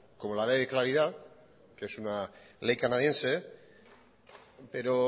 como la ley de claridad que es una ley canadiense pero